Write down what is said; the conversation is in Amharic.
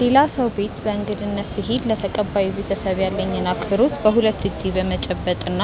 ሌላ ሰው ቤት በእንግድነት ስሄድ ለተቀባዩ ቤተሰብ ያለኝን አክብሮት በሁለት እጄ በመጨበጥ እና